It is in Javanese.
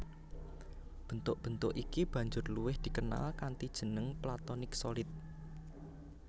Bentuk bentuk iki banjur luwih dikenal kanthi jeneng Platonic Solid